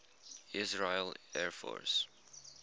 israeli air force